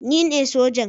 Ni ne sojan